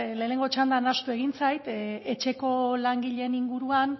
lehenengo txandan ahaztu egin zait etxeko langileen inguruan